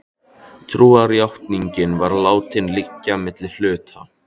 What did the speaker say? Trúarjátningin var látin liggja milli hluta.